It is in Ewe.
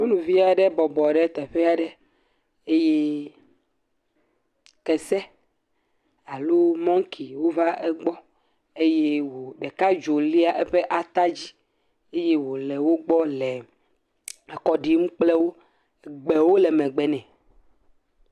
Nyɔnuvi aɖe bɔbɔ ɖe teƒe aɖe eye kese alo mɔŋki wova egbɔ eye wò, ɖeka dzo lia eƒe atadzi. Eye wòle wogbɔ le akɔ ɖim kple wo. Gbewo le megbe nɛ.